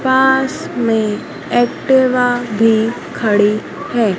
पास में एक्टिवा भी खड़ी है।